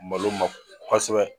Malo ma kɔsɛbɛ